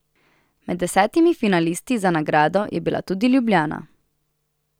Med desetimi finalisti za nagrado je bila tudi Ljubljana.